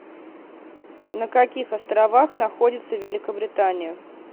на каких островах находится великобритания